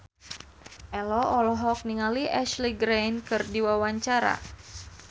Ello olohok ningali Ashley Greene keur diwawancara